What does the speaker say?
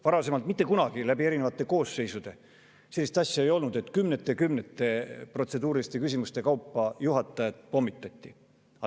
Varem ei ole eri koosseisude ajal mitte kunagi sellist asja olnud, et kümnete ja kümnete protseduuriliste küsimuste kaupa juhatajat pommitati.